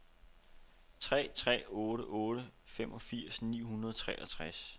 tre tre otte otte femogfirs ni hundrede og treogtres